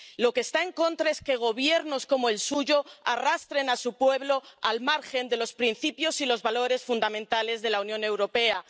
De lo que está en contra es que gobiernos como el suyo arrastren a su pueblo al margen de los principios y los valores fundamentales de la Unión Europea.